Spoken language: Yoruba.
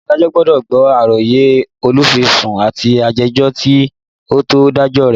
Adájọ́ gbọ́dọ̀ gbọ́ àròyé olùfisùn àti ajẹ́jọ́ kí ó tó dájọ́ rẹ̀